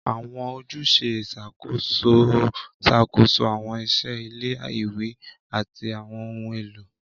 Àwọn ojúṣe ìṣàkóso ń ṣàkóso àwọn iṣẹ́ ilé-ìwé àti àwọn ohun èlò.